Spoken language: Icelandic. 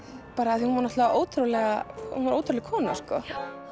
því að hún var náttúrulega ótrúleg ótrúleg kona sko